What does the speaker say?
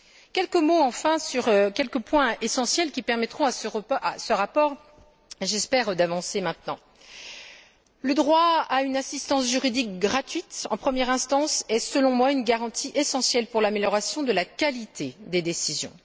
Quelques mots, enfin, sur une série de points essentiels qui permettront je l'espère à ce rapport d'avancer maintenant. Tout d'abord, le droit à une assistance juridique gratuite en première instance est, selon moi, une garantie essentielle pour l'amélioration de la qualité des décisions.